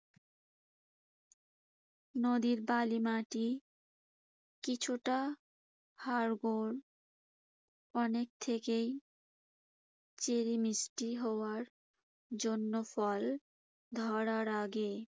নদীর বালি মাটি, কিছুটা হাড়গোড় অনেক থেকেই চেরি মিষ্টি হওয়ার জন্য ফল ধরার আগে